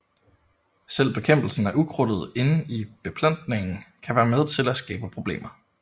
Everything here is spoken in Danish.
Selve bekæmpelsen af ukrudtet inde i beplantningen kan være med til at skabe problemer